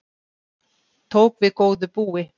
Tók við góðu búi